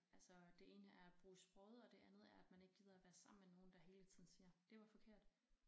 Altså det ene er at bruge sproget og det andet er at man ikke gider at være sammen med nogen der hele tiden siger det var forkert